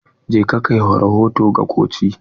Je ka kai rahoto ga koci!